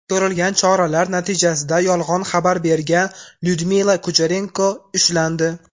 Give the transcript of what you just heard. Ko‘rilgan choralar natijasida yolg‘on xabar bergan Lyudmila Kucherenko ushlandi.